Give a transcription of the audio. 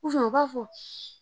u ka fɔ.